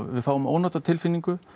við fáum ónotatilfinningu